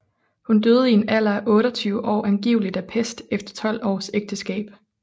Hun døde i en alder af 28 år angiveligt af pest efter 12 års ægteskab